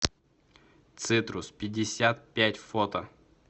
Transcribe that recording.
цитрус пятьдесят пять фото